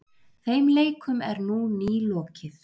þeim leikum er nú nýlokið